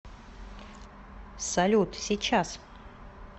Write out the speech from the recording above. салют сейчас